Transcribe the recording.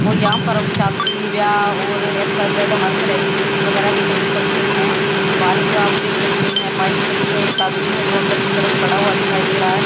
और यहां पर हम शादी व्याह और एक्स वाई जेड हर तरह के गिफ्ट वगैरह भी खरीद सकते हैं बाहर आप देख सकते हैं एक बाइक भी खड़ी है एक आदमी है जो अंदर की तरफ खड़ा हुआ दिखाई दे रहा है।